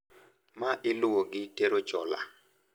Ma iluwo gi tero chola.